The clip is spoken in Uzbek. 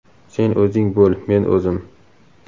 Sen o‘zing bo‘l, men o‘zim.